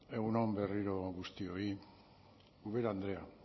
egun on berriro guztioi ubera andrea